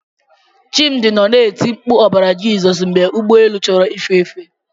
Chimdi nọ na-eti mkpu ọbara Jizọs mgbe ụgbọ elu chọrọ ife efe.